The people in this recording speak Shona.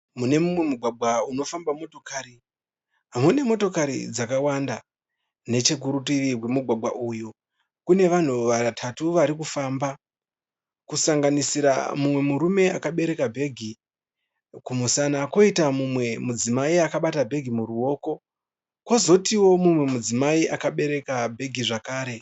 Mune mumwe mugwagwa unofamba motokari. Mune motokari dzakawanda. Nechokurutivi kwemugwagwa uyu kune vanhu vatatu varikufamba. Kusanganisira mumwe murume akabereka bhegi kumusana, koita mumwe mudzimai akabata bhegi muruoko. Kozotiwo mumwe mudzimai akabereka bhegi zvekare.